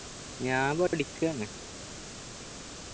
ഞാൻ പഠിക്കാണ്